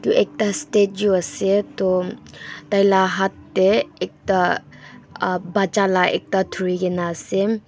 ekta statue ase tho taile hath de ekta uh bacha la ekta duri kina ase.